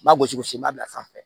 Ba gosi gosi i b'a bila sanfɛ